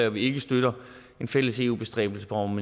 og vi ikke støtter en fælles eu bestræbelse om